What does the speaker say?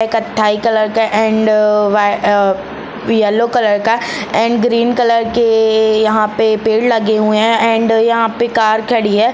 कत्थई कलर का एंड अ-वाई अ-येल्लो कलर का एंड ग्रीन कलर के यहाँ पे पेड़ लगे हुए है एंड यहाँ पे कार खड़ी हहै ।